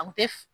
A kun tɛ